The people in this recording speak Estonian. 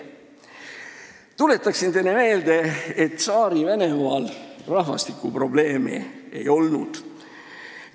Tuletan teile meelde, et Tsaari-Venemaal rahvastikuprobleemi ei olnud.